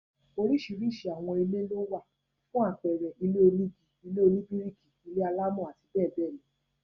Oríṣiríṣi àwọn ilé lówà, fún àpẹẹrẹ, ilé onígi, ilé oníbíríkì, ilé-alámọ̀ àti bẹẹ bẹẹ lọ